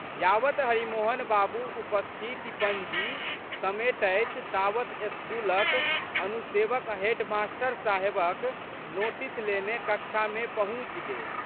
यावत् हरिमोहन बाबू उपस्थिति पंजी समेटथि तावत् स्कूलक अनुसेवक हेडमास्टर साहेबक नोटीस लेने कक्षामे पहुँचि गेल।